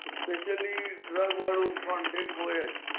specially drug content હોયજ